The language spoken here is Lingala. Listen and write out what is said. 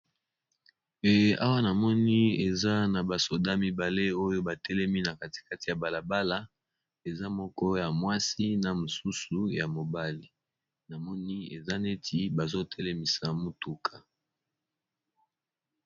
Eh awa na moni eza na ba soda mibale oyo ba telemi na kati kati ya bala bala eza moko ya mwasi na mosusu ya mobali, na moni eza neti bazo telemisa motuka.